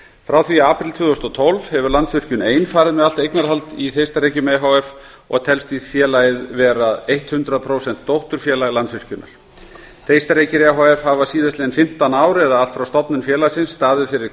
frá því í apríl tvö þúsund og tólf hefur landsvirkjun ein farið með allt eignarhald í þeistareykjum e h f og telst félagið því vera hundrað prósent dótturfélag landsvirkjunar þeistareykir e h f hafa síðastliðin fimmtán ár eða allt frá stofnun félagsins staðið fyrir